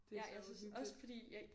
Det er så uhyggeligt